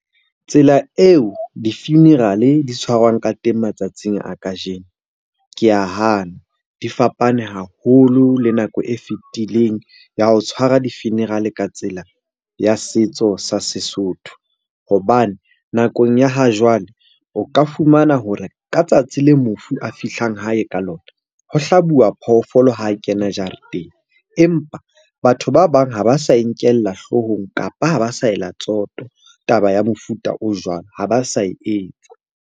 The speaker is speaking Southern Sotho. Tsela eo di-funeral-e di tshwarwang ka teng matsatsing a kajeno, ke a hana. Di fapane haholo le nako e fitileng ya ho tshwara di-funeral-e ka tsela ya setso sa Sesotho. Hobane nakong ya ha jwale o ka fumana hore ka tsatsi le mofu a fihlang hae ka lona, ho hlabuwa phoofolo ha kena jareteng. Empa batho ba bang ha ba sa e nkella hlohong, kapa ha ba sa ela tsoto taba ya mofuta o jwalo. Ha ba sa e etsa.